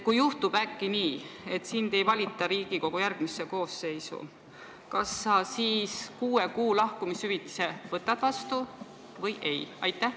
Kui juhtub äkki nii, et sind ei valita Riigikogu järgmisse koosseisu, kas sa siis kuue kuu palga ulatuses lahkumishüvitise võtad vastu või ei?